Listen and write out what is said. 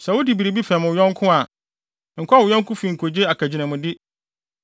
Sɛ wode biribi fɛm wo yɔnko a, nkɔ wo yɔnko fi nkogye akagyinamde.